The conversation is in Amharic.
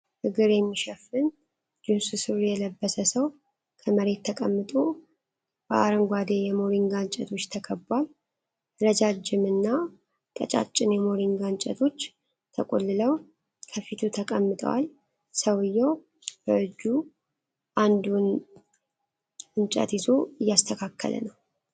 እግር የሚሸፍን ጂንስ ሱሪ የለበሰ ሰው ከመሬት ተቀምጦ በአረንጓዴ የሞሪንጋ እንጨቶች ተከቧል። ረዣዥም እና ቀጫጭን የሞሪንጋ እንጨቶች ተቆልለው ከፊቱ ተቀምጠዋል። ሰውየው በእጁ አንዱን እንጨት ይዞ እያስተካከለ ነው።